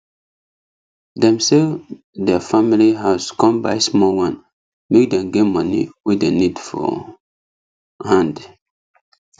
dem sell der family house con buy small one make dem get money wey dem need for hand